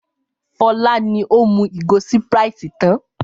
Fọlá ni ó mú ìgò Sprite tán.